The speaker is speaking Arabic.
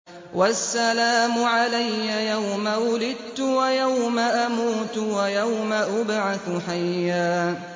وَالسَّلَامُ عَلَيَّ يَوْمَ وُلِدتُّ وَيَوْمَ أَمُوتُ وَيَوْمَ أُبْعَثُ حَيًّا